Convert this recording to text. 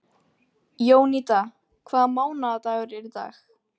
Jónída, hvaða mánaðardagur er í dag?